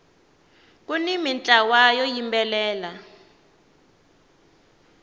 kuni mintlawa yo yimbelela